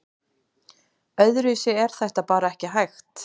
Öðruvísi er þetta bara ekki hægt